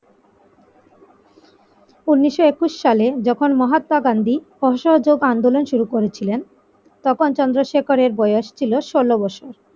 উনিশশো একুশ সালে যখন মহাত্মা গান্ধী অসহযোগ আন্দোলন শুরু করেছিলেন তখন চন্দ্রশেখরের বয়স ছিল ষোল বছর ।